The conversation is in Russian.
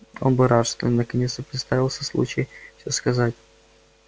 он бы рад что наконец-то представился случай все сказать